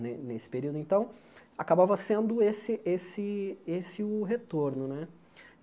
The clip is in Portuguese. ne nesse período, então, acabava sendo esse esse esse o retorno né.